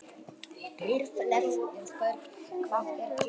Geirleifur, hvað er klukkan?